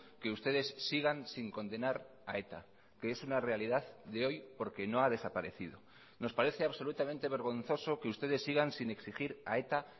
que ustedes sigan sin condenar a eta que es una realidad de hoy porque no ha desaparecido nos parece absolutamente vergonzoso que ustedes sigan sin exigir a eta